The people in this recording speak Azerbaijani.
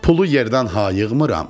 Pulu yerdən hayığmıram.